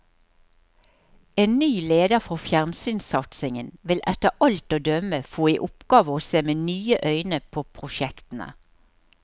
En ny leder for fjernsynssatsingen vil etter alt å dømme få i oppgave å se med nye øyne på prosjektene.